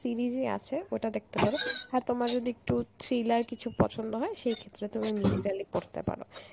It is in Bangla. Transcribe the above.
series ই আছে ওটা দেখতে পারো আর তোমার যদি একটু thriller কিছু পছন্দ হয় সেই ক্ষেত্রে তুমি পড়তে পারো.